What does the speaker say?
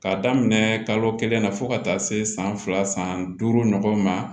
K'a daminɛ kalo kelen na fo ka taa se san fila san duuru ɲɔgɔn ma